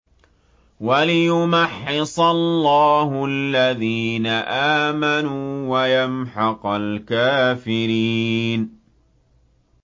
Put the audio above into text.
وَلِيُمَحِّصَ اللَّهُ الَّذِينَ آمَنُوا وَيَمْحَقَ الْكَافِرِينَ